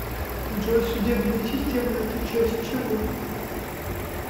джой судебная система это часть чего